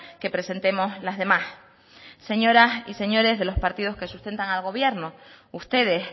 que presentemos las demás señoras y señores de los partidos que sustentan al gobierno ustedes